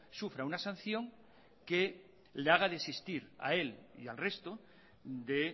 sufra una sanción que le haga desistir a él y al resto de